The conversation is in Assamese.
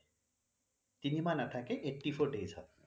তিনি মাহ নাথাকে eighty four days হয়